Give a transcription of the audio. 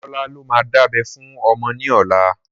Olólà ló máa dábẹ́ fún ọmọ ní ọlá